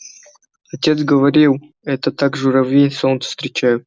отец говорил это так журавли солнце встречают